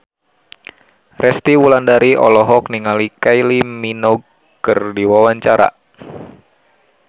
Resty Wulandari olohok ningali Kylie Minogue keur diwawancara